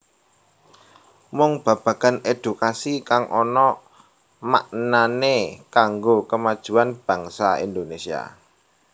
Mung babagan èdukasi kang ana maknanébkanggo kamajuan bangsa Indonesia